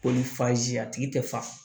Ko ni fazi a tigi tɛ fa